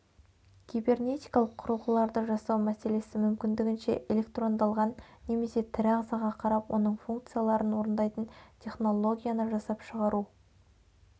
кибернетикалық құрылғыларды жасау мәселесі мүмкіндігінше электрондалған немесе тірі ағзаға қарап оның функцияларын орындайтын технологияны жасап шығару